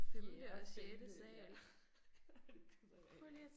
Fjerde femte ja. Det gider jeg ikke